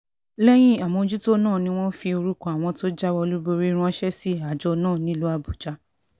lẹ́yìn àmójútó náà ni wọ́n fi orúkọ àwọn tó jáwé olúborí ránṣẹ́ sí àjọ náà nílùú àbújá